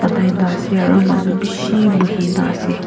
manu bise bohi kini ase.